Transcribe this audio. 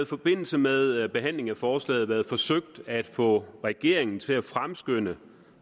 forbindelse med behandlingen af forslaget været forsøgt at få regeringen til at fremskynde